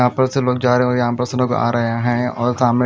यहाँ पर से लोग जा रहे हो यहांपर सब लोग आ रहे है और सामने--